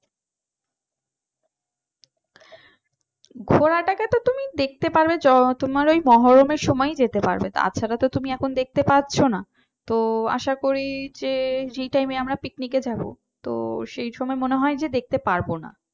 ঘোড়াটাকে তো তুমি দেখতে পারবে তোমার ওই মহরমের সময়ই যেতে পারবে তাছাড়া তো তুমি এখন দেখতে পাচ্ছ না তো আশা করি যে যেই টাইমে আমরা পিকনিক এ যাবো তো সেই সময় মনে হয় যে দেখতে পারবো না।